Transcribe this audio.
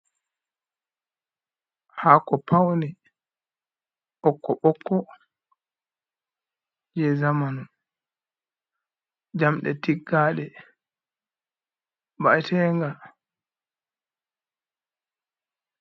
Hako paune bokko bokko je zamanu, jamde tiggade ba’etenga.